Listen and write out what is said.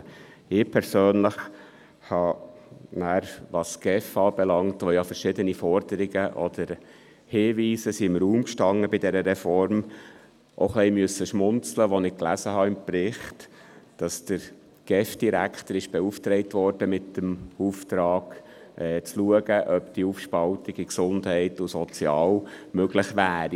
Ich persönlich musste, was die GEF anbelangt, zu der ja bei dieser Reform verschiedene Forderungen oder Hinweise im Raum standen, auch ein wenig schmunzeln, als ich im Bericht las, dass der GEF-Direktor beauftragt wurde, zu schauen, ob eine Aufspaltung in Gesundheit und Soziales möglich wäre.